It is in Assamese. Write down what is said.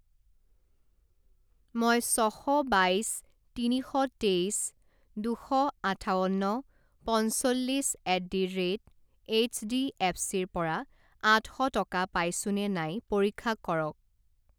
মই ছ শ বাইছ তিনি শ তেইছ দুশ আঠাৱন্ন পঞ্চল্লিছ এট দি ৰে'ট এইচডিএফচিৰ পৰা আঠ শ টকা পাইছোনে নাই পৰীক্ষা কৰক।